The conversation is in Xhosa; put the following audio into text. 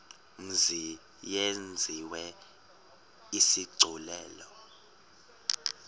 mzi yenziwe isigculelo